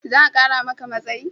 Za a kara maka matsayi?